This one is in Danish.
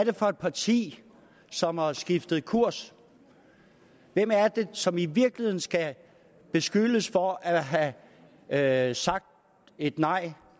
det for et parti som har skiftet kurs hvem er det som i virkeligheden skal beskyldes for at have have sagt et nej